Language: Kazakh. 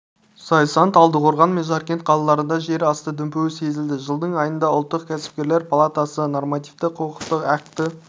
зайсан талдықорған мен жаркент қалаларында жер асты дүмпуі сезілді жылдың айында ұлттық кәсіпкерлер палатасы нормативтік-құқықтық акті